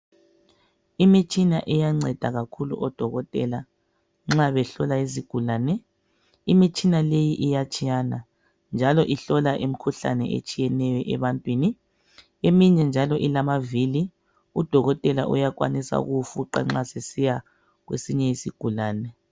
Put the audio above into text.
Imitshina iyanceda kakhulu odokotela nxa behlola izigulane imitshina leyi iyatshiyana njalo ihlola imikhuhlane etshiyeneyo ebantwini. Eminye njalo ilamavili udokotela uyakwanisa ukuwufuqa nxa esiya kwesinye isigulane